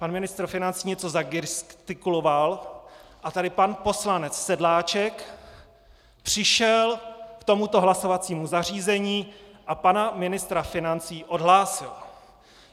Pan ministr financí něco zagestikuloval a tady pan poslanec Sedláček přišel k tomuto hlasovacímu zařízení a pana ministra financí odhlásil.